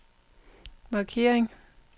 markering